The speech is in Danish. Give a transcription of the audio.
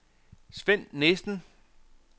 Sven Nissen